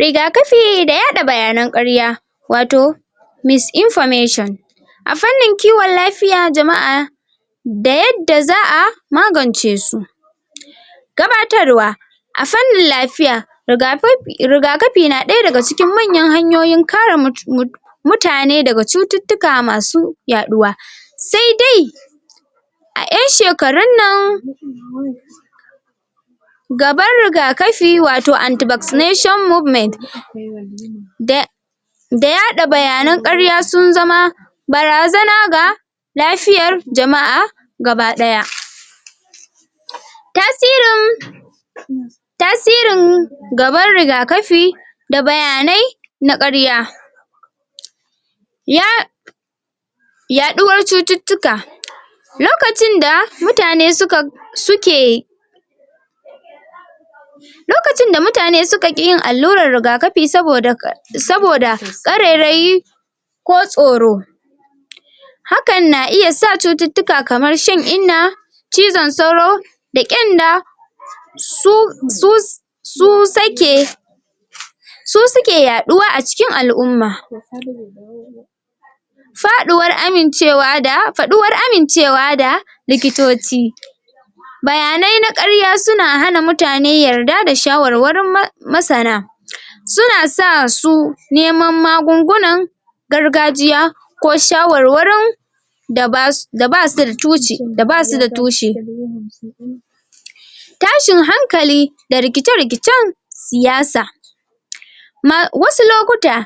Rigakafi da yaɗa bayanan ƙarya wato misinformation a fannin kiwon lafiya jama'a da yadda za a magance su gabatarwa a fannin lafiya Rigakafi Rigakafi na ɗaya daga cikin manyan hanyoyin kare mu mutane daga cututtuka masu yaɗuwa saidai a yan shekarun nan gaban rigakafi wato antivaccination movement da da yada bayanan karya sun zama barazana ga ga lafiyar jama'a gabadaya. tasirin tasirin gaban rigakafi da bayanai na karya ya yaɗuwar cututtuka lokacin da mutane suka suke lokacin da mutane suka ki yin allurar rigakafi saboda saboda ƙare rayi ko tsoro hakan na iya sa cututtuka kamar shan inna cizon sauro da ƙenda su su su su sake su suke yaɗuwa a cikin al'umma faɗuwar amincewa da faɗuwar amincewa da likitoci bayanai na karya suna hana mutane yarda da shawarwarin masana suna sa su neman magungunan gargajiya ko shawarwarin da ba da ba su da tuci da ba su da tushe tashin hankali da rikice rikicen siyasa ma wasu lokuta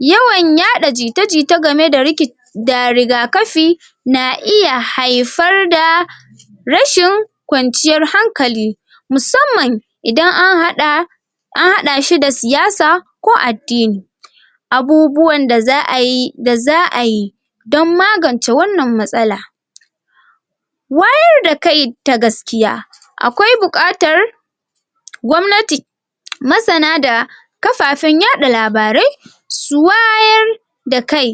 yawan yaɗa jita jita game da riki da rigakafi na iya haifar da rashin kwanciyar hankali musamman idan an haɗa an hada shi da siyasa ko ko addini abubuwan da za ayi da za ayi don magance wannan matsala wayar da kai ta gaskiya akwai buƙatar gwamnati masana da kafafen yaɗa labarai su wayar da kai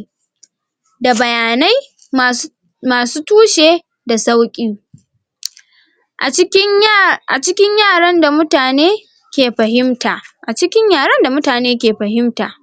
da bayanai ma su ma su tushe da sauƙi A cikin ya a cikin yaran da mutane ke fahimta a cikin yaren da mutane ke fahimta.